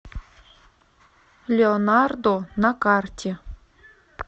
леонардо на карте